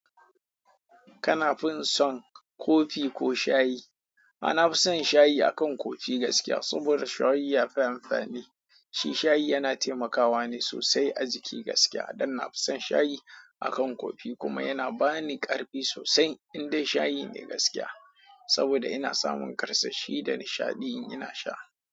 Kana fin son kofi ko shayi? A na fi son shayi akan kofi gaskiya saboda shayi ya fi amfani. Shi shayi yana taimakawa ne sosai a jiki gaskiya don na fi son shayi akan kofi kuma yana ba ni ƙarfi sosai in dai shayi ne gaskiya. Saboda ina samun karsashi da nishaɗi in ina sha.